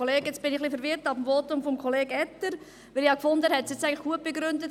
Denn ich bin der Meinung, er habe «kein Denkverbot» gut begründet.